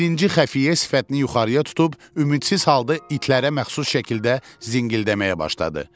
Birinci xəfiyyə sifətini yuxarıya tutub ümidsiz halda itlərə məxsus şəkildə zingildəməyə başladı.